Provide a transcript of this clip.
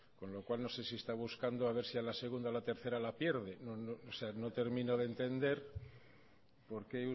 con lo cual no sé si está buscando a ver si a la segunda o a la tercera la pierde o sea no termino de entender porque